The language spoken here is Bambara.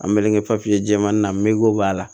An mɛnnen kɛ papiye jɛman na mogli b'a la